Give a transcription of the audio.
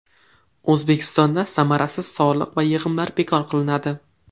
O‘zbekistonda samarasiz soliq va yig‘imlar bekor qilinadi.